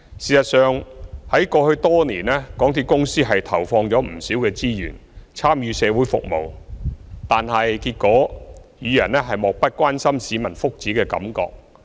事實上，在過去多年，港鐵公司投放不少資源參與社會服務，但結果仍予人漠不關心市民福祉的感覺。